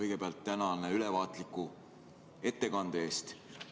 Hea Kadri, tänan ülevaatliku ettekande eest!